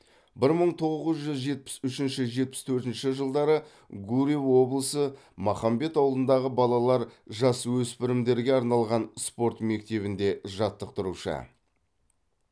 бір мың тоғыз жүз жетпіс үшінші жетпіс төртінші жылдары гурьев облысы махамбет ауылындағы балалар жасөспірімдерге арналған спорт мектебінде жаттықтырушы